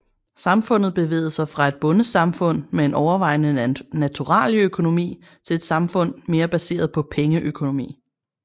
Samfundet bevægede sig fra et bondesamfund med en overvejende naturalieøkonomi til et samfund mere baseret på pengeøkonomi